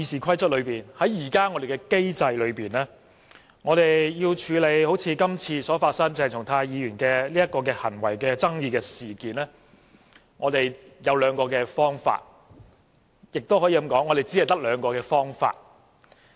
根據現行的《議事規則》，我們要處理一如今次鄭松泰議員的行為爭議，有兩個方法，也可以說，只有兩個方法。